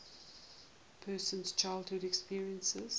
person's childhood experiences